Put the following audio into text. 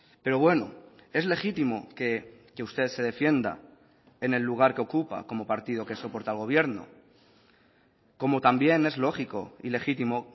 pero bueno es legítimo que usted se defienda en el lugar que ocupa como partido que soporta al gobierno como también es lógico y legítimo